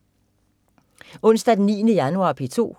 Onsdag den 9. januar - P2: